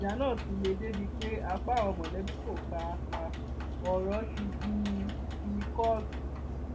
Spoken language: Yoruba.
ìjà náà ti le débii pé apá àwọn mọlẹbí kò ká a ọrọ ti di ti kóòtù